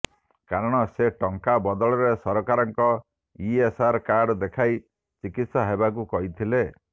କାରଣ ସେ ଟଙ୍କା ବଦଳରେ ସରକାରଙ୍କ ଇଏସ୍ଆଇ କାର୍ଡ ଦେଖାଇ ଚିକିତ୍ସା ହେବାକୁ କହିଥିଲେ